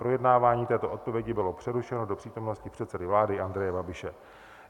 Projednávání této odpovědi bylo přerušeno do přítomnosti předsedy vlády Andreje Babiše.